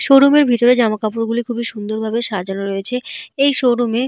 Showroom এর ভিতরে জামাকাপড় গুলি খুবই সুন্দর ভাবে সাজানো রয়েছে। এই শোরুমে ।